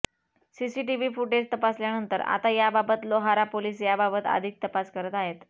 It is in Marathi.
सीसीटीव्ही फुटेज तपासल्यानंतर आता याबाबत लोहारा पोलीस याबाबत अधिक तपास करत आहेत